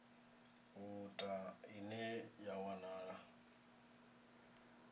u ta ine ya wanala